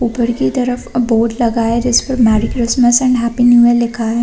ऊपर की तरफ अ बोर्ड लगा है जिसमे merry Christmas and happy new year लिखा है।